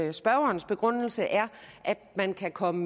at spørgerens begrundelse er at man kan komme